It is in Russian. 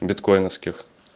биткойновских